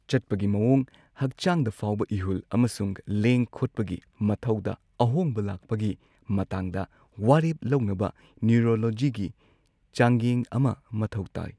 ꯆꯠꯄꯒꯤ ꯃꯋꯣꯡ, ꯍꯛꯆꯥꯡꯗ ꯐꯥꯎꯕ ꯏꯍꯨꯜ ꯑꯃꯁꯨꯡ ꯂꯦꯡ ꯈꯣꯠꯄꯒꯤ ꯃꯊꯧꯗ ꯑꯍꯣꯡꯕ ꯂꯥꯛꯄꯒꯤ ꯃꯇꯥꯡꯗ ꯋꯥꯔꯦꯞ ꯂꯧꯅꯕ ꯅ꯭ꯌꯨꯔꯣꯂꯣꯖꯤꯒꯤ ꯆꯥꯡꯌꯦꯡ ꯑꯃ ꯃꯊꯧ ꯇꯥꯏ꯫